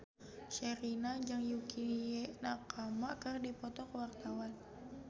Sherina jeung Yukie Nakama keur dipoto ku wartawan